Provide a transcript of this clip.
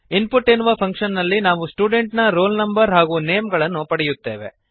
input ಎನ್ನುವ function ನಲ್ಲಿ ನಾವು ಸ್ಟೂಡೆಂಟ್ ನ ರೋಲ್ ನಂ ಹಾಗೂ ನೇಮ್ ಗಳನ್ನು ಪಡೆಯುತ್ತೇವೆ